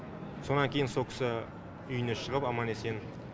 сонан кейін сол кісі үйіне шығып аман есен